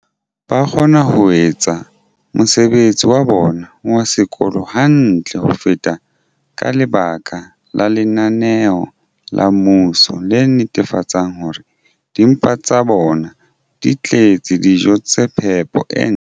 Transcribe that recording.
ba kgona ho etsa mosebetsi wa bona wa sekolo hantle ho feta ka lebaka la lenaneo la mmuso le netefatsang hore dimpa tsa bona di tletse dijo tsa phepo e ntle.